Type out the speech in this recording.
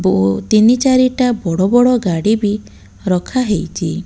ପୁଅ ତିନି ଚାରିଟା ବଡ଼ ବଡ ଗାଡ଼ି ବି ରଖାହେଇଛି।